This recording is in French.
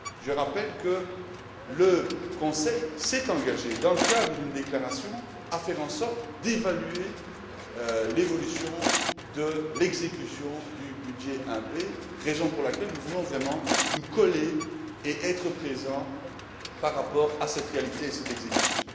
Je rappelle que le Conseil s'est engagé, dans le cadre d'une déclaration, à faire en sorte d'évaluer l'évolution de l'exécution du budget 1b, raison pour laquelle nous voulons vraiment nous coller et être présents par rapport à cette réalité et cette exécution.